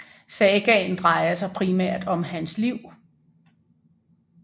Sagaen drejer sig primært om hans liv